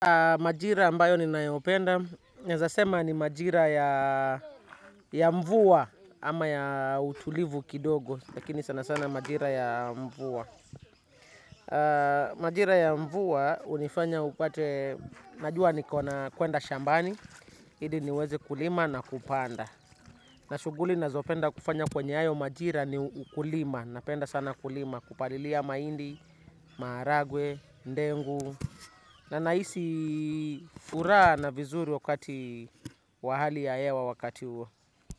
Majira ambayo ninayopenda. Naeza sema ni majira ya mvua ama ya utulivu kidogo. Lakini sana sana majira ya mvua. Majira ya mvua unifanya upate, najua niko na kwenda shambani. Hili niweze kulima na kupanda. Na shuguli nazopenda kufanya kwenye hayo majira ni ukulima. Napenda sana kulima, kupalilia maindi, maharagwe, ndengu. Na naisi furaha na vizuri wakati wa hali ya hewa wakati huwo.